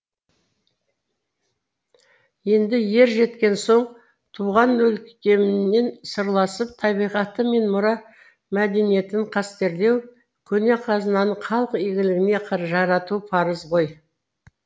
енді ер жеткен соң туған өлкеңмен сырласып табиғаты мен мұра мәдениетін қастерлеу көне қазынаны халық игілігіне жарату парыз ғой